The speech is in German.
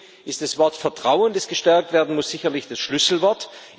Deswegen ist das Wort Vertrauen, das gestärkt werden muss, sicherlich das Schlüsselwort.